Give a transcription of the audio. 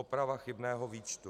Oprava chybného výčtu.